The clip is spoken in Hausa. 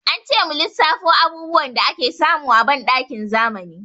Ance mu lissafo abubuwan da ake samu a banɗakin zamani.